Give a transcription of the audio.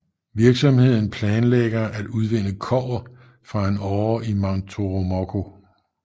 Virksomheden planlægger at udvinde kobber fra en åre i Mount Toromocho